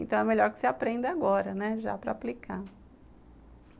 Então é melhor que você aprenda agora, né, já para aplicar.